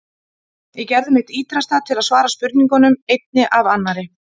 Ég gerði mitt ýtrasta til að svara spurningunum, einni af annarri.